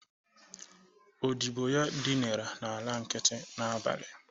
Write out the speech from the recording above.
Odigbo ya dịnara n'ala nkiti n'abalị